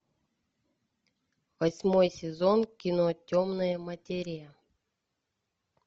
восьмой сезон кино темная материя